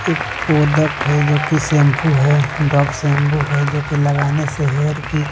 एक प्रोडक्ट है जो की शैंपू है डब शैंपू है जो की लगाने से हेयर की--